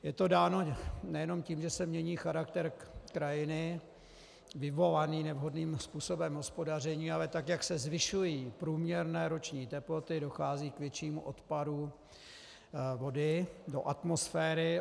Je to dáno nejenom tím, že se mění charakter krajiny vyvolaný nevhodným způsobem hospodaření, ale tak jak se zvyšují průměrné roční teploty, dochází k většímu odparu vody do atmosféry.